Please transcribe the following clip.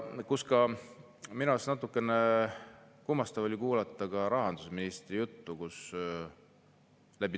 Minu arust oli natukene kummastav kuulata rahandusministri juttu.